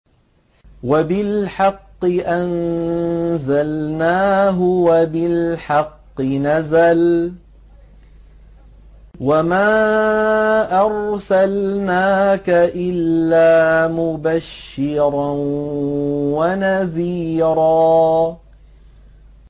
وَبِالْحَقِّ أَنزَلْنَاهُ وَبِالْحَقِّ نَزَلَ ۗ وَمَا أَرْسَلْنَاكَ إِلَّا مُبَشِّرًا وَنَذِيرًا